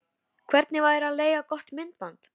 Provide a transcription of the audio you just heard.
Hvernig væri að leigja gott myndband?